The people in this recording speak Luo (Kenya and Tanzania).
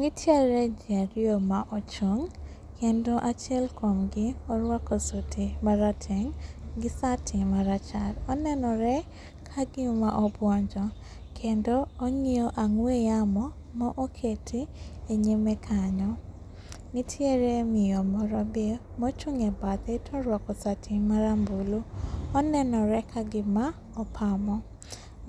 Nitiere jii ariyo maochung', kendo achiel kuomgi oruako suti marateng' gi sati marachar, onenore kagima obuonjo, kendo ong'iyo ang'we yamo maoketi e nyime kanyo. Ntiere miyo moro be mochung' e badhe toruako sati marambulu onenore kagima opamo